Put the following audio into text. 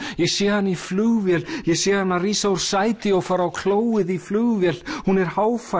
ég sé hana í flugvél ég sé hana rísa úr sæti og fara á klóið í flugvél hún er